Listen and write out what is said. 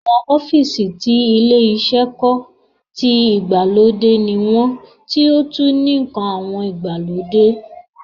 Awọn ọ́fìsì tuntun tí ilé iṣẹ́ kọ́, tí ìgbàlódé ní wọ́n tí ó tún ní àwọn ǹkan ìgbàlódé